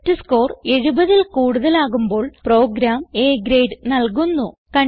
test score 70ൽ കൂടുതലാകുമ്പോൾ program A grade നൽകുന്നു